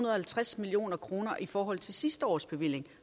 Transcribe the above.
og halvtreds million kroner i forhold til sidste års bevilling